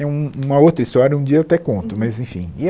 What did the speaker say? É um uma outra história, um dia eu até conto, mas enfim e é.